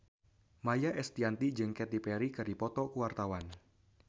Maia Estianty jeung Katy Perry keur dipoto ku wartawan